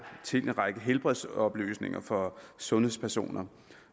til en række helbredsoplysninger for sundhedspersoner